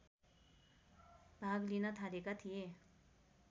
भाग लिन थालेका थिए